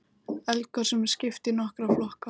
Eldgosum er skipt í nokkra flokka.